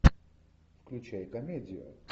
включай комедию